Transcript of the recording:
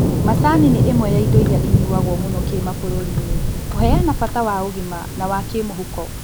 Macani nĩ ĩmwe ya indo iria inyuagwo mũno kĩmabũrũriinĩ kũheana bata wa ũgima na wa kĩmũhuko